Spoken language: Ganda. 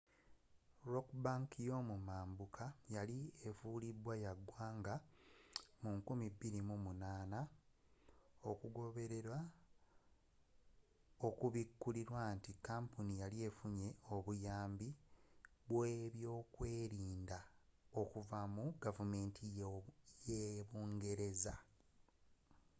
rock bank y'omumambuka yali efulidwa ya ggwanga mu 2008 okugoberera okubikulirwa nti kampuni yali efunye obuyambi bw'okwerinda okuva mu gavumenti yabungereza